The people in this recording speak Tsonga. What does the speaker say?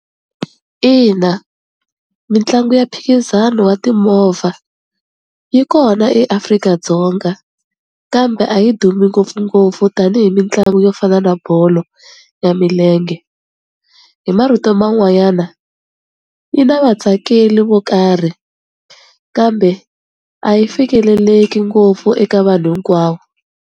Ina mitlangu ya mphikizano wa timovha yi kona eAfrika-Dzonga, kambe a yi dumi ngopfungopfu tanihi mitlangu yo fana na bolo ya milenge, hi marito man'wanyana yi na vatsakeli vo karhi kambe a yi fikeleleki ngopfu eka vanhu hinkwavo.